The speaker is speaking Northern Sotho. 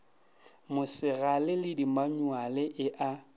mosegale le dimanyuale e a